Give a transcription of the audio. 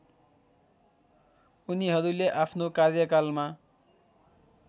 उनीहरूले आफ्नो कार्यकालमा